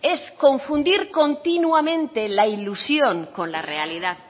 es confundir continuamente la ilusión con la realidad